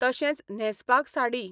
तशेंच न्हेंसपाक साडी.